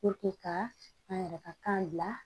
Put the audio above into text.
ka an yɛrɛ ka kan bila